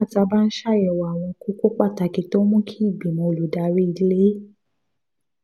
nígbà tá a bá ń ṣàyẹ̀wò àwọn kókó pàtàkì tó ń mú kí ìgbìmọ̀ olùdarí ilé